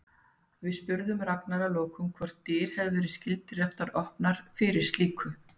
Við spurðum Ragnar að lokum hvort dyr hafi verið skyldar eftir opnar fyrir slíku?